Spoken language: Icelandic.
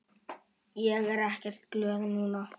Ég er ekkert glöð núna.